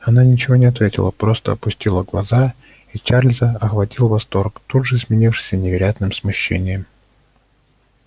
она ничего не ответила просто опустила глаза и чарльза охватил восторг тут же сменившийся невероятным смущением